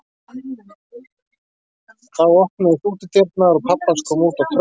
En þá opnuðust útidyrnar og pabbi hans kom út á tröppurnar.